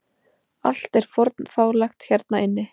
Allt er fornfálegt hérna inni.